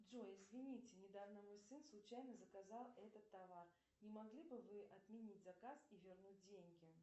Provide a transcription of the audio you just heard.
джой извините недавно мой сын случайно заказал этот товар не могли бы вы отменить заказ и вернуть деньги